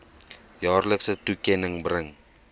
jaarlikse toekenning bring